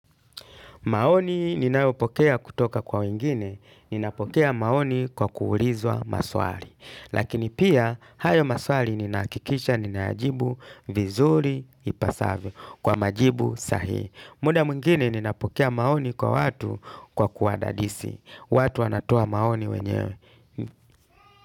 Maoni ninayopokea kutoka kwa wengine, ninapokea maoni kwa kuulizwa maswali. Lakini pia, hayo maswali ninahakikisha ninayajibu vizuri ipasavyo kwa majibu sahihi. Muda mwngine ninapokea maoni kwa watu kwa kuwadadisi. Watu wanatoa maoni wenyewe.